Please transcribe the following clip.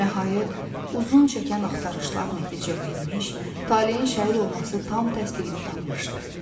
Nəhayət, uzun çəkən axtarışlar nəticə vermiş, Talehin şəhid olması tam təsdiqini tapmışdı.